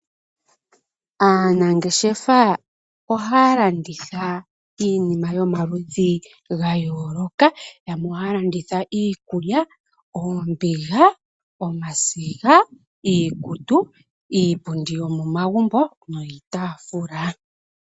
Aanangeshefa ohaya landitha iinima yomaludhi ga yooloka. Yamwe ohaya landitha iikulya, oombiga, omasiga, iikutu, iipundi yomomagumbo niitaafula.